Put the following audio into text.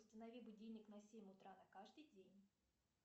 установи будильник на семь утра на каждый день